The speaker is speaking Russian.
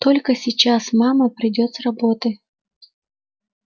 только сейчас мама придёт с работы